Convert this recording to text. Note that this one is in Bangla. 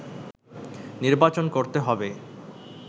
নির্বাচন করতে হবে”